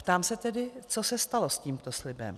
Ptám se tedy, co se stalo s tímto slibem.